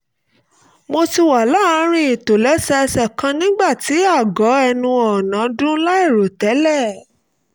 mo ti wà ní àárín ìtòlẹ́sẹẹsẹ kan nígbà tí aago ẹnu ọ̀nà dún láìròtẹ́lẹ̀